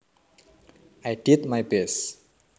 I did my best